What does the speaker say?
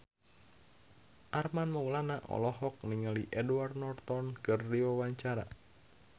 Armand Maulana olohok ningali Edward Norton keur diwawancara